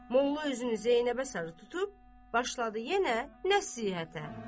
Molla üzünü Zeynəbə sarı tutub, başladı yenə nəsihətə.